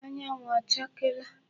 Anyanwụ ọ chakeela?